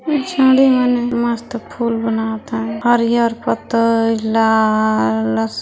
मस्त फूल बनात है हरियर पतई लाल अस--